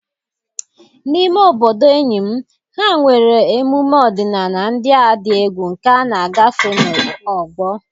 n'ime obodo enyi m, ha nwere emume ọdịnala ndị a dị egwu nke a na-agafe n'ọgbọ.